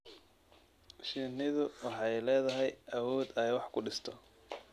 Shinnidu waxay leedahay awood ay wax ku dhisto.